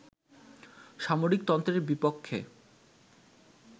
সামরিকতন্ত্রের বিপক্ষে